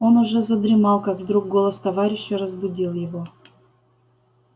он уже задремал как вдруг голос товарища разбудил его